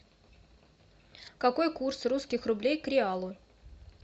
какой курс русских рублей к реалу